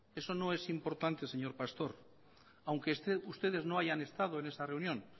eso no es importante señor pastor aunque ustedes no hayan estado en esa reunión